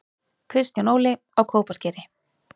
Kristján Óli: Á Kópaskeri